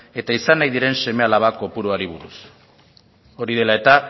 eta izan nahi diren seme alaba kopuruari buruz hori dela eta